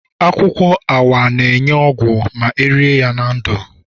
Akwukwo AWA na-enye ogwu ma erie ya nke ndu